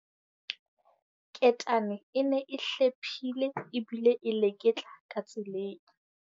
Ketane e ne e hlephile ebile e leketla ka tseleng.